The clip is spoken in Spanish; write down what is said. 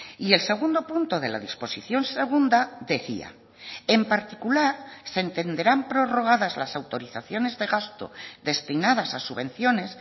y el segundo punto de la disposición segunda decía en particular se entenderán prorrogadas las autorizaciones de gasto destinadas a subvenciones